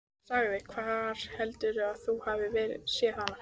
Hann sagði: Hvar heldurðu að þú hafir séð hana?